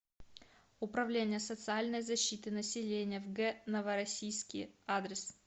управление социальной защиты населения в г новороссийске адрес